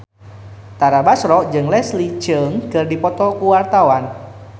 Tara Basro jeung Leslie Cheung keur dipoto ku wartawan